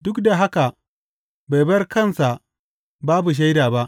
Duk da haka bai bar kansa babu shaida ba.